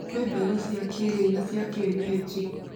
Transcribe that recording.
kwĩ mbegũ cia kĩrĩu na cia kĩenyeji